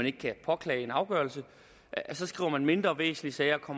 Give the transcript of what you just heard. ikke kan påklage en afgørelse så skriver mindre væsentlige sager og